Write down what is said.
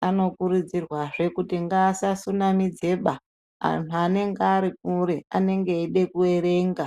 Vanokurudzirwazve kuti ngaasasunamidzeba antu anenge arikure anenge eide kuerenga.